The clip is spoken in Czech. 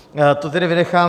To tedy vynechám.